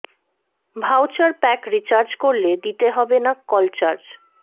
voucher pack recharge করলে দিতে হবে না কল চার্জ